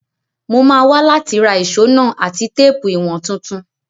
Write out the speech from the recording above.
Mo máa wa láti ra ìso náà àti téèpù ìwọ̀n tuntun